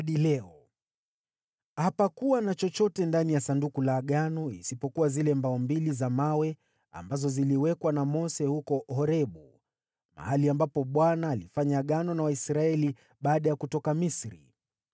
Ndani ya Sanduku hapakuwepo kitu kingine chochote isipokuwa zile mbao mbili za mawe ambazo Mose alikuwa ameziweka ndani yake huko Horebu, mahali ambapo Bwana alifanya Agano na Waisraeli baada ya kutoka Misri.